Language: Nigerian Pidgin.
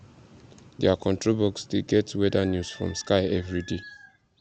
their control box dey get weather news from sky every day